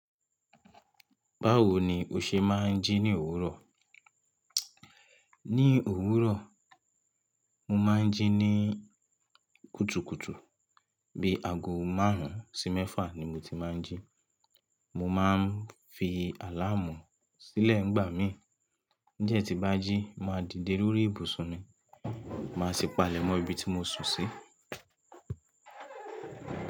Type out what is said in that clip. Báwo ni o ṣe máa ń jí ní òwúrọ̀? Ní òwúrọ̀, mo máa ń jí ní kùtùkùtù. Bí aago márùn-ún sí mẹ́fà ni mo ti máa ń jí. Mo máa ń fi àláàmú sílẹ̀ ń gbà mí. N jẹ́ tí n bá jí, mo màá dìde lórí ìbùsùn mi, màá sì palẹ̀mọ́ ibi tí mo sùn sí.